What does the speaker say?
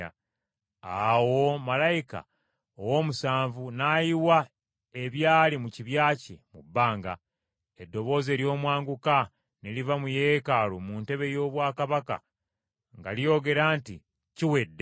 Awo malayika ow’omusanvu n’ayiwa ebyali mu kibya kye mu bbanga. Eddoboozi ery’omwanguka ne liva mu Yeekaalu mu ntebe y’obwakabaka nga lyogera nti, “Kiwedde.”